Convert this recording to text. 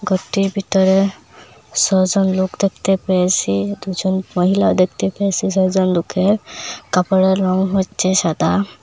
ঘরটির ভিতরে ছ'জন লোক দেখতে পেয়েসি দুজন মহিলা দেখতে পেয়েসি ছ'জন লোকের কাপড়ের রং হচ্ছে সাদা।